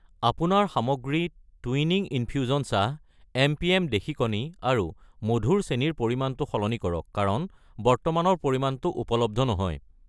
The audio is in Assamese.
আপোনাৰ সামগ্ৰী টুইনিং ইনফিউজন চাহ , এম.পি.এম. দেশী কণী আৰু মধুৰ চেনি ৰ পৰিমাণটো সলনি কৰা কাৰণ বৰ্তমানৰ পৰিমাণটো উপলব্ধ নহয়।